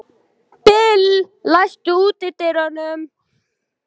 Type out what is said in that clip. Bill, læstu útidyrunum.